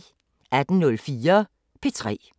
18:04: P3